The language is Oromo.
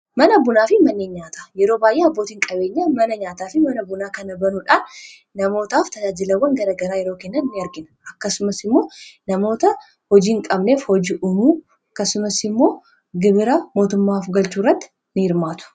mana bunaa fi manneen nyaataa yeroo baayyee abbootiin qabeenya mana nyaataa fi mana bunaa kana banuudhaan namootaaf tajaajilawwan garagaraa yeroo kennan in argina akkasumas immoo namoota hojii hin qabneef hojii umuu akkasumas immoo gibira mootummaaf galchuurratti in hirmaatu.